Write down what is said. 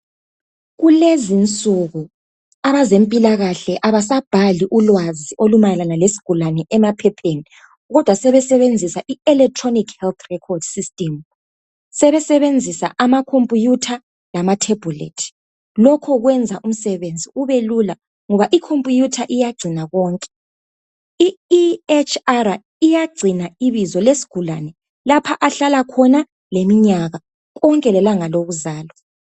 Kulezi insuku abezempilakahle abasabhali ulwazi olumayelana lesigulane emaphepheni, kodwa sebesebenzisa iElectronic Health Record System. Sebesebenzisa amakhompuyutha, lamathebhulethi. Lokho kwenza umsebenzi ubelula, ngoba ikhompuyutha iyagcina konke. lEHR iyagcina ibizo lesigulane. Lapha ahlala khona, leminyaka. Konke lelanga lokuzalwa.